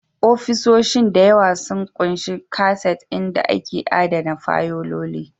Ofisoshin da yawa sun ƙunshi kaset inda ake adana fayiloli